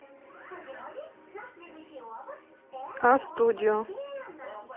а студио